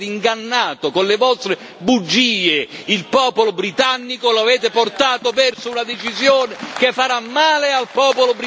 il popolo britannico, lo avete portato verso una decisione che farà male al popolo britannico e che farà male all'Unione europea.